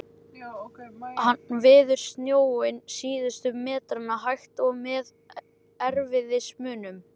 Hann veður snjóinn síðustu metrana, hægt, og með erfiðismunum.